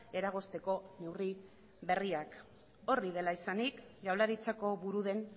eragozteko neurri berriak hori horrela izanik jaurlaritzako buru den